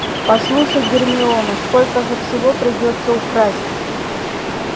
послушай гермиона сколько же всего придётся украсть